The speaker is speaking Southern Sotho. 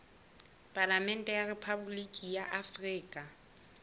palamente ya rephaboliki ya afrika